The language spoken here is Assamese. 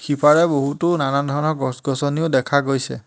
সিপাৰে বহুতো নানান ধৰণৰ গছ-গছনিও দেখা গৈছে।